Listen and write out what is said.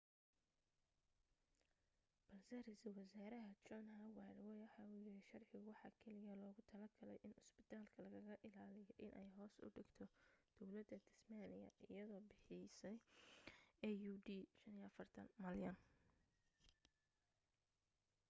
balse ra’iisul wasaaraha john howard waxa uu yidhi sharcigu waxa keliya loogu talo galay in cusbitaalka lagaga ilaaliyo inay hoos u dhigto dawladda tasmaaniya iyagoo bixiyay aud$45 malyan